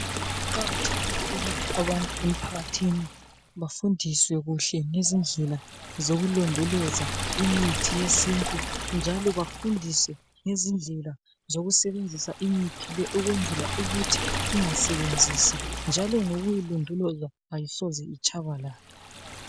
Kuqakathekile ukuthi abantu emphakathini bafundiswe kuhle ngezindlela zokulondoloza imithi yesintu njalo bafundiswe ngezindlela zokusebenzisa imithi le ukwenzela ukuthi ingasebenzisi, njalo ngokuyilondoloza, ayisoze itshabalale.